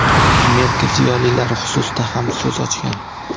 Amerika ziyolilari xususida ham so‘z ochgan.